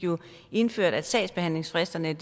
indført at sagsbehandlingsfristerne